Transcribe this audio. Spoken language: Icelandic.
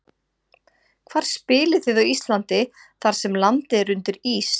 Hvar spilið þið á Íslandi þar sem landið er undir ís?